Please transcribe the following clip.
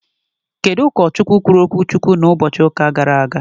Kedụ ụkọ Chukwu kwuru okwu Chukwu na ụbọchị ụka gara aga?